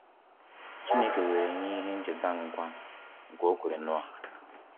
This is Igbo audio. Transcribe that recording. Chineke were nye ihe ncheta nkwa nke o kwere Noah.